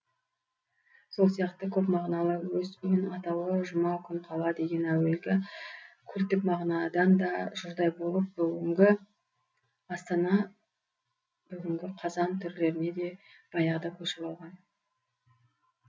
сол сияқты көпмағыналы өс өн атауы жұмақ күн қала деген әуелгі культтік мағынадан да жұрдай болып бүгінгі астана бүгінгі қазан түрлеріне де баяғыда көшіп алған